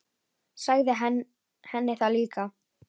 Sagði henni það líka.